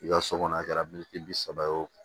I ka so kɔnɔ a kɛra min bi saba o